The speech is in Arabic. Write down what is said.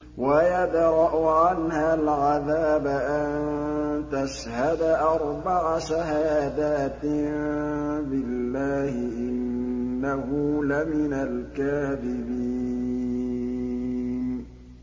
وَيَدْرَأُ عَنْهَا الْعَذَابَ أَن تَشْهَدَ أَرْبَعَ شَهَادَاتٍ بِاللَّهِ ۙ إِنَّهُ لَمِنَ الْكَاذِبِينَ